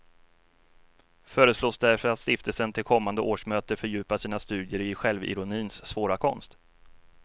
Föreslås därför att stiftelsen till kommande årsmöte fördjupar sina studier i självironins svåra konst.